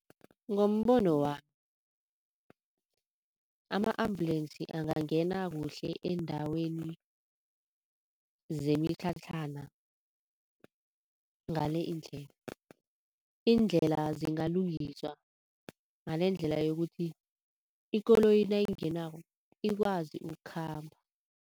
Ngombono wami, ama-ambulance angangena kuhle eendaweni zemitlhatlhana ngale indlela. Indlela zingalungiswa ngalendlela yokuthi ikoloyi nayingenako ikwazi ukukhamba.